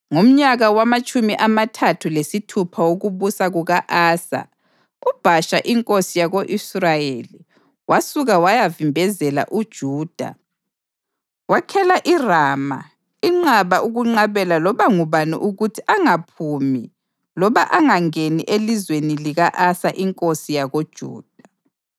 Ngomnyaka wamatshumi amathathu lesithupha wokubusa kuka-Asa uBhasha inkosi yako-Israyeli wasuka wayavimbezela uJuda wakhela iRama inqaba ukunqabela loba ngubani ukuthi angaphumi loba angangeni elizweni lika-Asa inkosi yakoJuda.